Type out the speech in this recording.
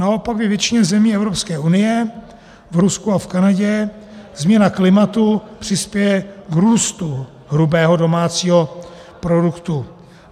Naopak ve většině zemí Evropské unie, v Rusku a v Kanadě změna klimatu přispěje k růstu hrubého domácího produktu.